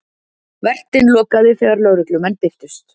Vertinn lokaði þegar lögreglumenn birtust